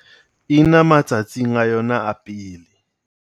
Ena matsatsing a yona a pele.